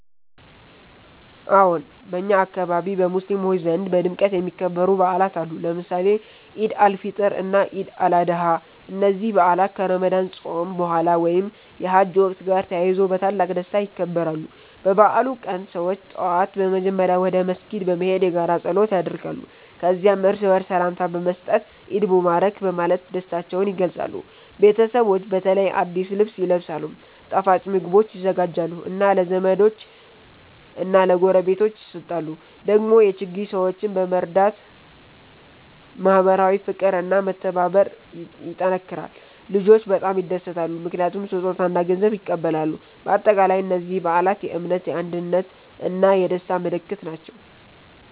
አዎን፣ በእኛ አካባቢ በሙስሊሞች ዘንድ በድምቀት የሚከበሩ በዓላት አሉ፣ ለምሳሌ ኢድ አል-ፊጥር እና ኢድ አል-አድሃ። እነዚህ በዓላት ከረመዳን ጾም በኋላ ወይም የሐጅ ወቅት ጋር ተያይዞ በታላቅ ደስታ ይከበራሉ። በበዓሉ ቀን ሰዎች ጠዋት በመጀመሪያ ወደ መስጊድ በመሄድ የጋራ ጸሎት ያደርጋሉ። ከዚያም እርስ በርስ ሰላምታ በመስጠት “ኢድ ሙባረክ” በማለት ደስታቸውን ይገልጻሉ። ቤተሰቦች በተለይ አዲስ ልብስ ይለብሳሉ፣ ጣፋጭ ምግቦች ይዘጋጃሉ እና ለዘመዶች እና ለጎረቤቶች ይሰጣሉ። ደግሞ የችግኝ ሰዎችን በመርዳት ማህበራዊ ፍቅር እና መተባበር ይጠናከራል። ልጆች በጣም ይደሰታሉ ምክንያቱም ስጦታ እና ገንዘብ ይቀበላሉ። በአጠቃላይ እነዚህ በዓላት የእምነት፣ የአንድነት እና የደስታ ምልክት ናቸው።